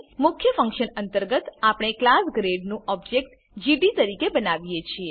મુખ્ય ફંક્શન અંતર્ગત આપણે ક્લાસ ગ્રેડ નું ઓબજેક્ટ જીડી તરીકે બનાવીએ છીએ